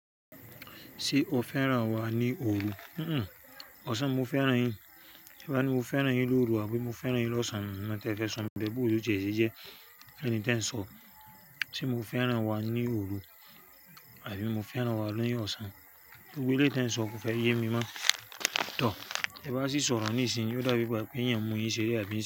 Ṣé o féràn wa ní òru? Un un, ọ̀sán mo féràn yin. To bá ni mo féràn yin lóru àbí mo féràn yin lọ́sàn án. Mo tẹ̀ẹ́ fẹ́ sọ̀ún tẹ bí òru jẹ́ èéjẹjẹ ẹni tí ń sọ. Ṣé mo féràn wa ní òru àbí mo féràn wa lóní ọ̀sán? Orú èléyìí tẹ ń sọ kò fẹ yé mi mọ́. Tọ, ẹ bá sì sọ̀rọ̀ níìsín, ó dàbí i bà pé ìyẹn mú yin ṣeré àbí ìṣe.